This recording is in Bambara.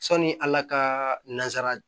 Sani ala ka nanzara